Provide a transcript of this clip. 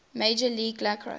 major league lacrosse